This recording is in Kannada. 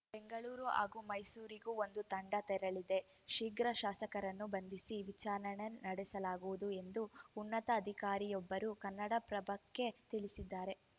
ಬೆಂಗಳೂರು ಹಾಗೂ ಮೈಸೂರಿಗೂ ಒಂದು ತಂಡ ತೆರಳಿದೆ ಶೀಘ್ರ ಶಾಸಕರನ್ನು ಬಂಧಿಸಿ ವಿಚಾರಣೆ ನಡೆಸಲಾಗುವುದು ಎಂದು ಉನ್ನತ ಅಧಿಕಾರಿಯೊಬ್ಬರು ಕನ್ನಡಪ್ರಭಕ್ಕೆ ತಿಳಿಸಿದ್ದಾರೆ